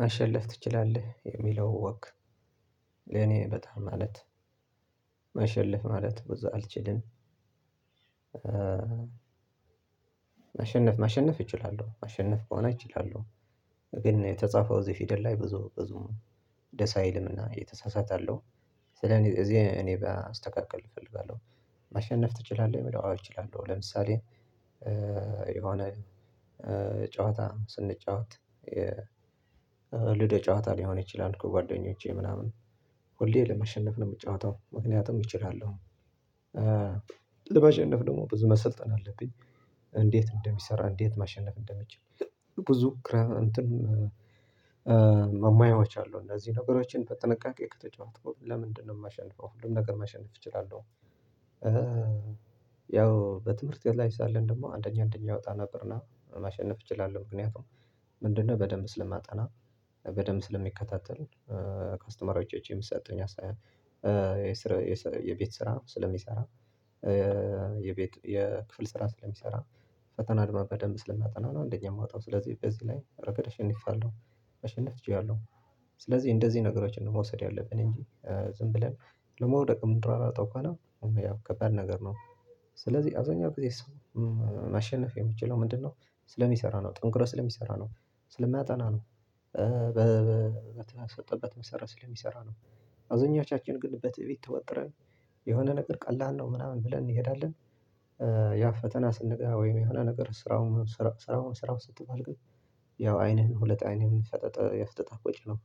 ማሸለፍ ትችላለህ የሚለው ወግ ለኔ በጣም ማለት ማሸለፍ ማለት ብዙ አልችልም ማሸነፍ ማሸነፍ እችላለሁ ማሸነፍ ከሆነ እችላለሁ ግን የተጻፈው እዚህ ፊደል ላይ ብዙ ብዙም ደስ አይልም። እና የተሳሳተ አለሁ። ስለ እኔ እዚህ እኔ ጋ ላስተካክል እፈልጋለሁ። ማሸነፍ ትችላለህ? የሚለው አዎ እችላለሁ። ለምሳሌ የሆነ ጨዋታ ስንጫወት ልደ ጨዋታ ሊሆን ይችላል። ከጓደኞቼ ምናምን ሁሌ ለማሸነፍ ነው የምጫወተው። ምክንያቱም እችላለሁ። ለማሸነፍ ደግሞ ብዙ መሰልጠን አለብኝ እንዴት እንደሚሰራ እንዴት ማሸነፍ እንደሚችል ብዙ እንትን ማየዎች አሉ። እንደዚህ ነገሮችን በጥንቃቄ ከተጫወትከው ለምንድነው የማሸንፈው? ሁሉን ነገር ማሸነፍ እችላለሁ። ያው በትምህርት ቤት ላይ ሳለን ደግሞ አንደኛ አንደኛ እወጣ ነበር። እና ማሸነፍ እችላለሁ። ምክንያቱም ምንድነው በደንብ ስለማጠና በደንብ ስለሚከታተሉኝ ከአስተማሪዎቸ የሚሰጡኝ አስተያየት የቤት ስራ ስለሚሰራ የክፍል ስራ ስለሚሰራ ፈተና አድማ በደንብ ስለማጠና አንደኛ የምወጣው። ስለዚህ በዚህ ላይ ረገድ አሸንፌያለው። ማሸነፍ እችላለሁ። ስለዚህ እንደዚህ ነገሮችን ነው መውሰድ ያለብን። እንጂ ዝም ብለን ለመውደቅም ምንሯሯጠው ከሆነ ያው ከባድ ነገር ነው። ስለዚህ አብዛኛው ጊዜ ሰው ማሸነፍ የምችለው ምንድነው ስለሚሰራ ነው፣ ጠንክሮ ስለሚሰራ ነው፣ ስለሚያጠና ነው። በተሰጠበት መሰረት ስለሚሰራ ነው። አዞኛቻችን ግን በትዕቢት ተወጥረን የሆነ ነገር ቀላል ነው ምናምን ብለን እንሄዳለን ያው ፈተና ስንገባ ወይም የሆነ ነገር ስራው ስራውን ስራው ስትባል ግን ያው አይንህን ሁለት አይንህን ፈጥጥ አፍጥጠህ ቁጭ ነው።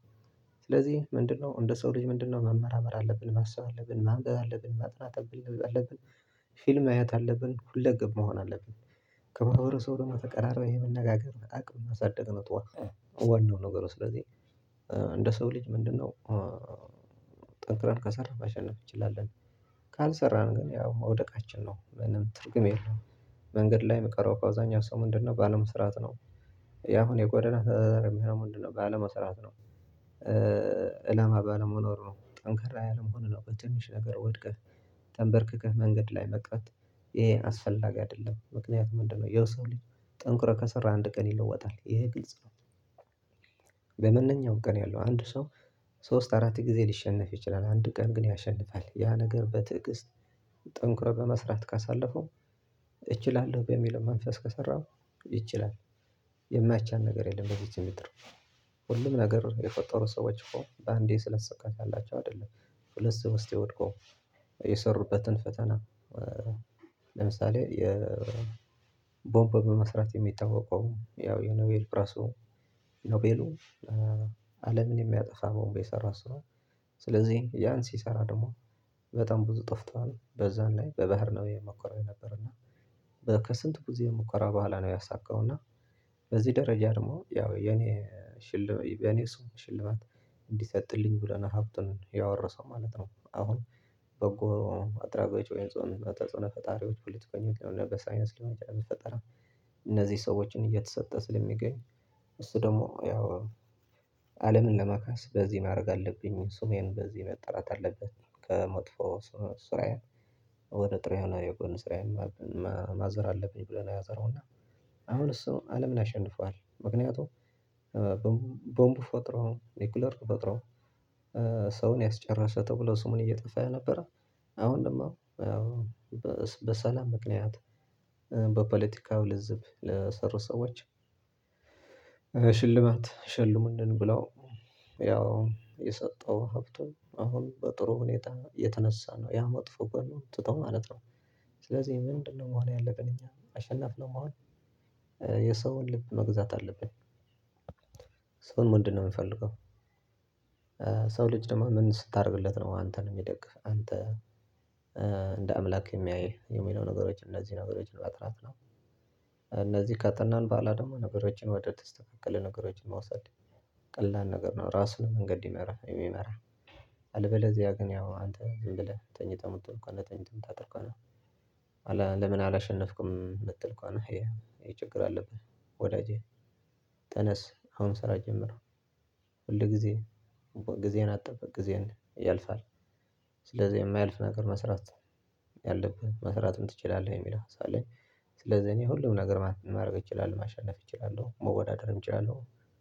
ስለዚህ ምንድነው እንደ ሰው ልጅ ምንድነው መመራመር አለብን፣ ማሰብ አለብን፣ ማንበብ አለብን፣ ማጥናት አለብን። ፊልም ማየት አለብን። ሁለገብ መሆን አለብን። ከማህበረሰቡ ደግሞ ተቀራርበህ ይሄ መነጋገር አቅም ማሳደግ ነው። ጠዋት ዋናው ነገር ነው። ስለዚህ እንደ ሰው ልጅ ምንድነው ጠንክረን ከሰራህ ማሸነፍ እንችላለን። ካልሰራህ ግን ያው መውደቃችን ነው። ምንም ትርጉም የለም። መንገድ ላይ የሚቀረው እኮ አብዛኛው ሰው ምንድነው ባለመስራት ነው። ያሁን የጎዳና የሚሆነው ምንድነው ባለመስራት ነው። አላማ ባለመኖሩ ነው። ጠንክራ ያለመሆኑ ነው። በትንሽ ነገር ወድቀህ ተንበርክከህ መንገድ ላይ መቅረት ይሄ አስፈላጊ አይደለም። ምክንያቱም ምንድነው የሰው ልጅ ጠንክሮ ከሰራ አንድ ቀን ይለወጣል። ይሄ ግልጽ ነው። በማንኛው ቀን ያለው አንድ ሰው ሶስት አራት ጊዜ ሊሸነፍ ይችላል። አንድ ቀን ግን ያሸንፋል። ያ ነገር በትዕግስት ጠንክሮ በመስራት ካሳለፈው እችላለሁ በሚለው መንፈስ ከሰራሁ ይችላል የማይቻል ነገር የለም በዚችምድር። ሁሉም ነገር የፈጠሩ ሰዎች እኮ አንዴ የተሳካላቸው ያላቸው አይደለም። ሁለት ሶስቴ ወድቀው የሰሩበትን ፈተና ለምሳሌ የ ቦምብ መስራት የሚታወቀው ያው የኖቤል ፕራሶ ኖቤሉ አለምን የሚያጠፋ ቦንብ የሰራ ሰው ስለዚህ ያን ሲሰራ ደግሞ በጣም ብዙ ጠፍቷል። በዛን ላይ በባህር ነው የሞከረው የነበረበት። እና ከስንት ብዙ የሙከራ በኋላ ነው ያሳካው። እና በዚህ ደረጃ ደግሞ ያው የኔ ሽልማት የኔ ሰው ሽልማት እንዲሰጥልኝ ብለሎ ነው ሀብቱን ያወረሰው ማለት ነው። አሁን በጎ አድራጎች ወይንም ፈጣሪዎች ፍልስፍና በሳይነስ ለመጨረስ ብትፈጠራም እነዚህ ሰዎችን እየተሰጠ ስለሚገኝ እሱ ደግሞ ያው አለምን ለመካስ በዚህ ማድረግ አለብኝ ስሜን በዚህ መጠራት አለበት፣ ከመጥፎ ሱራያን ወደ ጥሬ ሆኖ የጎን ስራዬን ማዞር አለብኝ ብሎ ነው ያዞረው። እና አሁን እሱ አለምን አሸንፏል። ምክንያቱም ቦምቡ ፈጥሮ፣ ኑክለር ፈጥሮ ሰውን ያስጨረሰ ተብሎ ስሙን እየጠፋ ያልነበረ አሁን ደግሞ በሰላም ምክንያት በፖለቲካው ልዝብ ለሰሩ ሰዎች ሽልማት ሸልሙልን ብለው ያው የሰጠው ሀብቱን አሁን በጥሩ ሁኔታ የተነሳ ነው። ያ መጥፎ ጎኑን ትቶ ማለት ነው። ስለዚህ ምንድነው መሆን ያለብን እኛ? አሸናፊ ነው መሆን የሰውን ልብ መግዛት አለብኝ። ሰውን ምንድን ነው የምፈልገው? ሰው ልጅ ደግሞ ምን ስታደርግለት ነው አንተን የሚደግፍህ? አንተ እንደ አምላክ የሚያይህ? የሚለው ነገሮች እነዚህ ነገሮችን ማጥናት ነው። እነዚህ ካጠናን በኋላ ደግሞ ነገሮችን ወደ ተስተካከለ ነገሮችን መውሰድ ቀላል ነገር ነው። ራሱን መንገድ የሚመራህ አልበለዚያ ግን ያው አንተ ዝም ብለህ ተኝተህ ምት እኮ ተኝተህ ሞት አጥልኳለሁ ለምን አላሸነፍኩም የምትል እንኳን ይሄ ችግር አለብህ። ወዳጄ ተነስ አሁን ስራ ጀምረው። ሁል ጊዜ ጊዜን አጠብቅ ጊዜን ያልፋል። ስለዚህ የማያልፍ ነገር መስራት ያለብህ መስራትም ትችላለህ የሚል ሀሳብ ስለዚህ እኔ ሁሉም ነገር ማድረግ እችላለሁ። ማሸነፍ እችላለሁ። መወዳደርም እችላለሁ።